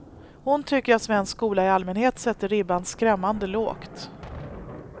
Hon tycker att svensk skola i allmänhet sätter ribban skrämmande lågt.